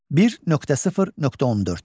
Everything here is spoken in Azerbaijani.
1.0.14.